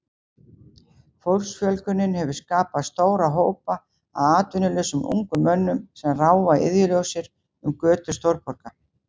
Fólksfjölgunin hefur skapað stóra hópa af atvinnulausum ungum mönnum sem ráfa iðjulausir um götur stórborga.